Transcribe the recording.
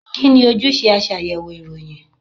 Kí ni ojúṣe aṣàyẹ̀wò ìròyìn?